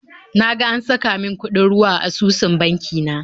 Na ga an saka min kuɗin ruwa a asusun banki na